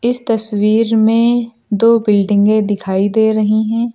इस तस्वीर में दो बिल्डिंगे दिखाई दे रही हैं।